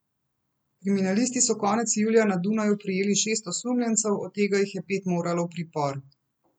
Kriminalisti so konec julija na Dunaju prijeli šest osumljencev, od tega jih je pet moralo v pripor.